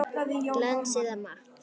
Glans eða matt?